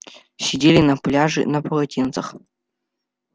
сидели на пляже на полотенцах